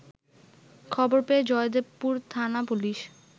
খবর পেয়ে জয়দেবপুর থানা পুলিশ